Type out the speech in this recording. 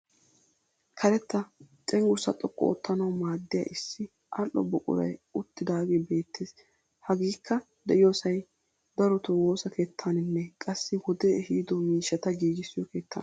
Karetta cenggurssaa xoqqu oottanawu maaddiya issi ali'o buquray uttidaagee beettes. Hageekka de'iyoosay darotoo woossiyo keettaaninne qassi wode ehido miishshata giigissiyo keettaana.